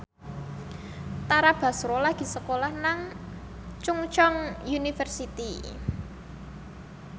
Tara Basro lagi sekolah nang Chungceong University